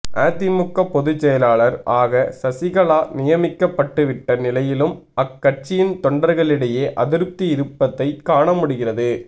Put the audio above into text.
அதிமுக பொதுசெயலாளர் ஆக சசிகலா நியமிக்க பட்டுவிட்ட நிலையிலும் அக்கட்சியின் தொண்டர்களிடையே அதிருப்தி இருப்பதை காண முடிகிறது